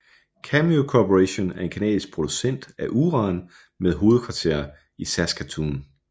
Cameco Corporation er en canadisk producent af uran med hovedkvarter i Saskatoon